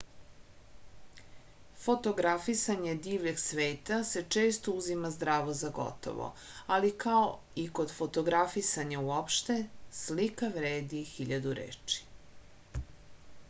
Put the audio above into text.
fotografisanje divljeg sveta se često uzima zdravo za gotovo ali kao i kod fotografisanja uopšte slika vredi hiljadu reči